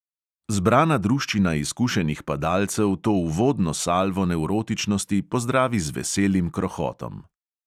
Zbrana druščina izkušenih padalcev to uvodno salvo nevrotičnosti pozdravi z veselim krohotom.